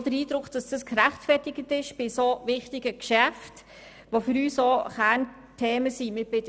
Das ist bei so wichtigen Geschäften, die für uns Kernthemen sind, gerechtfertigt.